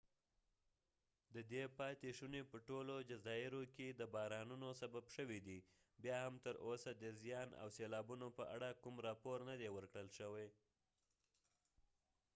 ددې پاتی شونی په ټولو جزایرو کې د بارانونو سبب شوي دي بیا هم تر اوسه د زیان او سیلابونو په اړه کوم راپور نه دي ور کړل شوي